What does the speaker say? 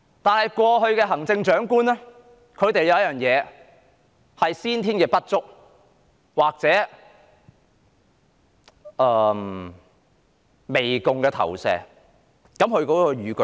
但是，過去的行政長官有先天不足，或媚共的心理。